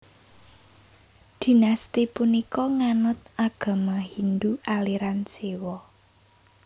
Dinasti punika nganut agama Hindu aliran Siwa